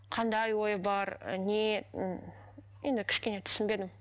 қандай ой бар і не м енді кішкене түсінбедім